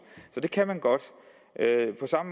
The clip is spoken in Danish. så det kan man godt